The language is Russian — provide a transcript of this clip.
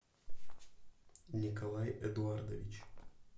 николай эдуардович